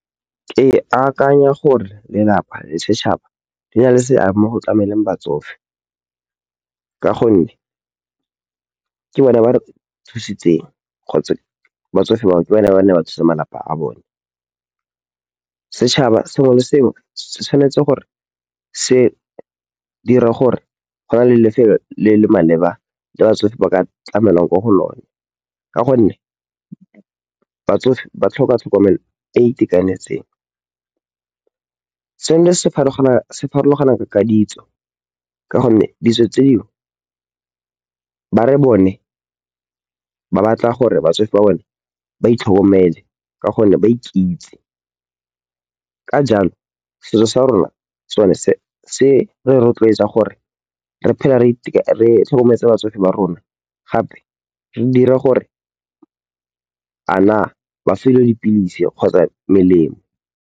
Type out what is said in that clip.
Ke akanya gore lelapa le setšhaba di na le seabe mo go tlameleng batsofe. Ka gonne, ke bone ba re thusitseng kgotsa batsofe bao ke ba ne ba ne ba thusa malapa a bone. Setšhaba sengwe le sengwe se tshwanetse gore se dira gore go na le lefelo le le maleba le batsofe ba ka tlamelwang mo go lone. Ka gonne, batsofe ba tlhoka tlhokomelo e e itekanetseng. Seno se farologana ka ditso ka gonne ditso tse dingwe ba re bone ba batla gore batsofe ba bone ba itlhokomele ka gonne ba ikitse. Ka jalo, setso sa rona sone se re rotloetsa gore re phele re tlhokometse batsofe ba rona gape re dira gore a na ba fiwa dipilisi kgotsa melemo.